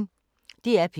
DR P1